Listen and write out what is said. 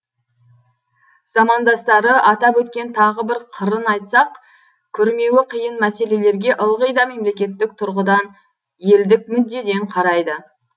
замандастары атап өткен тағы бір қырын айтсақ күрмеуі қиын мәселелерге ылғи да мемлекеттік тұрғыдан елдік мүддеден қарайды